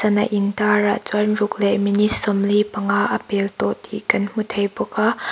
in tar ah chuan ruk leh minute sawmli panga a pel tawh tih kan hmu thei bawk a.